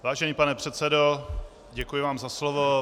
Vážený pane předsedo, děkuji vám za slovo.